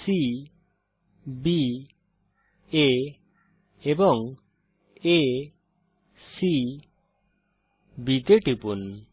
cbআ এবং acবি তে টিপুন